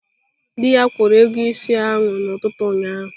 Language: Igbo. Dị ya kwụrụ ego ịsị ahụ n'ụtụtụ ụnyaahụ